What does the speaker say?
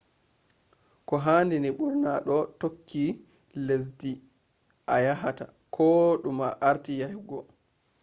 koohaadini burna doo tookki lessdii a yaahata ko dum a aarti yahhego